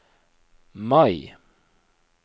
Mai